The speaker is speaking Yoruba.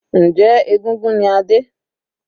Njẹ́ egúngún ni Adé?